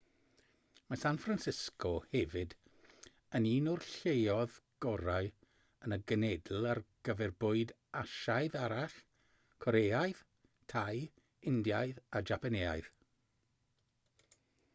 mae san francisco hefyd yn un o'r lleoedd gorau yn y genedl ar gyfer bwyd asiaidd arall coreaidd thai indiaidd a japaneaidd